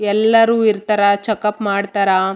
ಎಲ್ಲರು ಇರ್ತರ ಚೆಕಪ್ ಮಾಡ್ತರ.